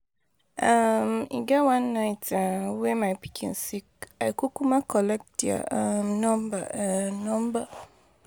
um E get one night um wey my pikin sick,I kukuma collect their um number. um number.